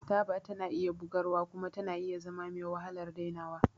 Taba tana bugarwa kuma tana iya zama mewahalar dainawa.